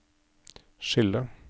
skille